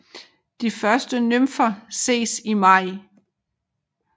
De første nymfer ses i maj